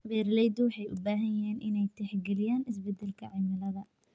Beeraleydu waxay u baahan yihiin inay tixgeliyaan isbeddelka cimilada.